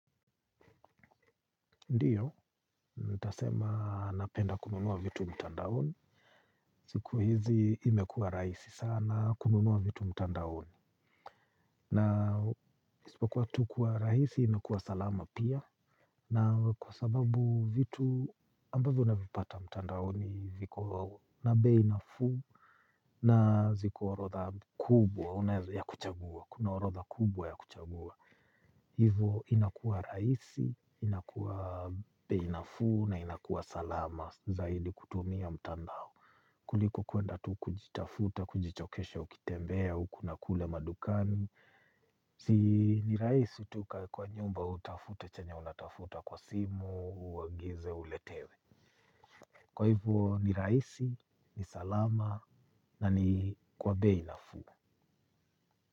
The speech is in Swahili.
Ndiyo, ntasema napenda kununua vitu mtandaoni. Siku hizi imekua raisi sana kununua vitu mtandaoni. Na isipokuwa tu kwa raisi na kwa salama pia. Na kwa sababu vitu ambavyo navipata mtandaoni viko na bei nafuu na ziko orodha kubwa ya kuchagua. Kuna orodha kubwa ya kuchagua. Hivo inakua raisi, inakua bei nafuu na inakua salama zaidi kutumia mtandao. Kuliko kuenda tu kujitafuta, kujichokesha ukitembea, uku na kule madukani. Si ni raisi tu ukae kwa nyumba utafute chenye unatafuta kwa simu, uagize, uletewe. Kwa hivo ni raisi, ni salama na ni kwa bei nafuu.